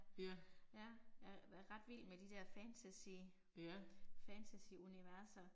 Ja. Ja